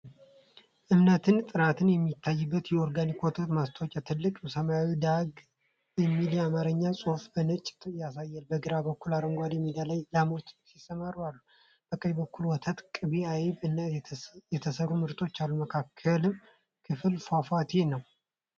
እምነትና ጥራት የሚታይበት የኦርጋኒክ ወተት ማስታወቂያ። ትልቁ ሰማያዊ ዳራ "ደግ" የሚል የአማርኛ ጽሑፍ በነጭ ያሳያል። በግራ በኩል አረንጓዴ ሜዳ ላይ ላሞች ሲሰማሩ አሉ። በቀኝ በኩል ወተት፣ ቅቤ፣ አይብ እና የተሰሩ ምርቶች አሉ። መካከለኛው ክፍል ፏፏቴ ነው።